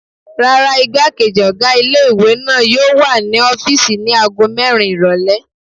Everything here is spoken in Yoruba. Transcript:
Rárá, igbákejì ọ̀gá ilé-ìwé náà yóò wà ní ọ́fìsì ní ago mẹ́rin ìrọ̀lẹ́